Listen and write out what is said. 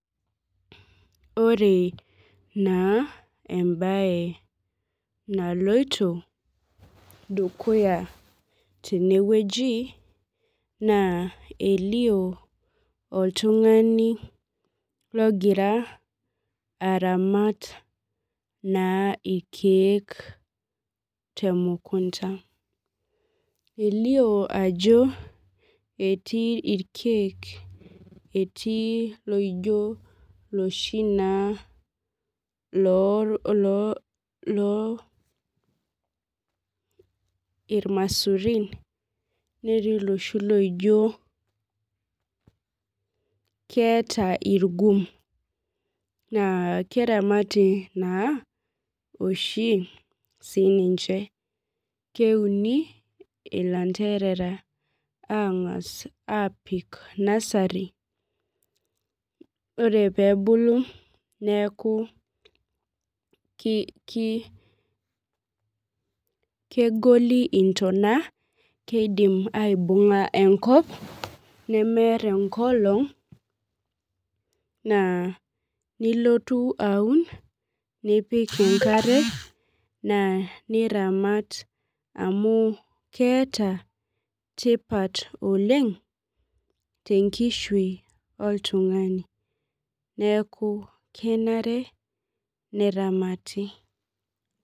Ore naa embae naloito dukuya tenewueji naa elio oltung'ani logira naa aramat ilkeek te mukunta elio ajo etii ilkeek laijo iloshi naa laijo ilamisurin naa keeta ilgum naa keramati naa oshi sii niche naa kuni ilanterera tenasari naa ore pee ebulu neaku kegoli intonation keidim aibunga enkop nemetum enkop naa nilotu aun nipik enkare amu keeta tipat oleng te nkishui oltung'ani